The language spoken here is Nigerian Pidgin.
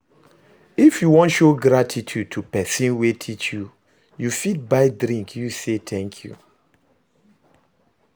If you won show gratitude to persin wey teach you you fit buy drink use say thank you